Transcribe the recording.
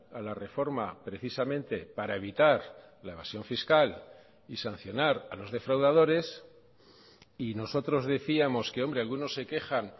a la reforma precisamente para evitar la evasión fiscal y sancionar a los defraudadores y nosotros decíamos que hombre algunos se quejan